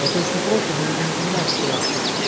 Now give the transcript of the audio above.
это очень просто но люди не понимают что